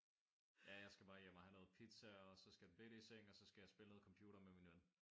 Ja jeg skal bare hjem og have noget pizza og så skal den bette i seng og så skal jeg spille noget computer med min ven